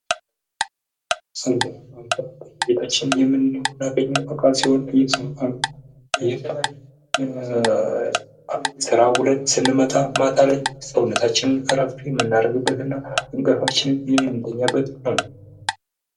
አልጋ፤ አልጋ በየቤታችን የሚኖር እና ሲሆን ይህንን ስራ ውለን ስንመጣ ማታ ላይ ሰውነታችን አረፍ ምንናደርግበትና እንቅልፋችንን የምንተኛበት ነው።